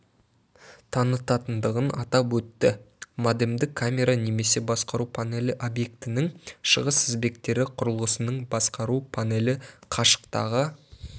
танытатындығын атап өтті модемді камера немесе басқару панелі объектінің шығыс тізбектері құрылғысының басқару панелі қашықтағы